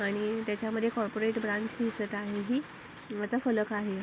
आणि त्याच्यामध्ये corporate branch दिसत आहे ही त्याचा फलक आहे.